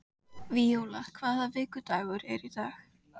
Víóla, hvaða vikudagur er í dag?